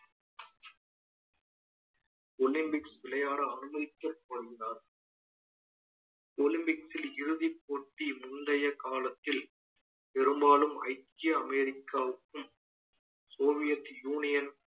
olympics விளையாட அனுமதிக்கப்படுகிறார் olympics ல் இறுதிப் போட்டி முந்தைய காலத்தில் பெரும்பாலும் ஐக்கிய அமெரிக்காவுக்கும் soviet union